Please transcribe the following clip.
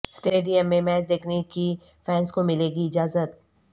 stadium میں match دیکھنے کی فینس کو ملے گی اجازت